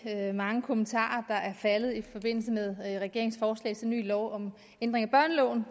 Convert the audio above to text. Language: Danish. mange kommentarer der er faldet i forbindelse med regeringens forslag til lov om ændring af børneloven